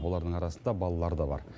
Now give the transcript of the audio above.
олардың арасында балалар да бар